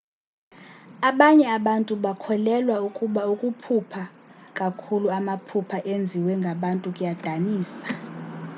abanye abantu bakholelwa ukuba ukuphupha kakhuluamaphupha enziwe ngabantu kuyadinisa